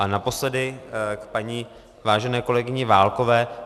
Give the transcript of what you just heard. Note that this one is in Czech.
A naposledy k paní vážené kolegyni Válkové.